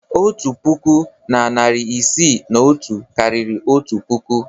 Otu puku na narị isii na otu karịrị otu puku.